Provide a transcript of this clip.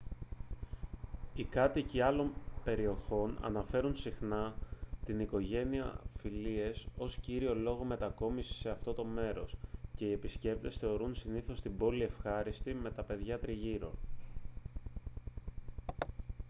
οι κάτοικοι άλλων περιοχών αναφέρουν συχνά την οικογένεια-φιλίες ως κύριο λόγο μετακόμισης σε αυτό το μέρος και οι επισκέπτες θεωρούν συνήθως την πόλη ευχάριστη με τα παιδιά τριγύρω